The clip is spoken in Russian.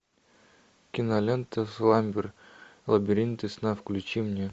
кинолента сламбер лабиринты сна включи мне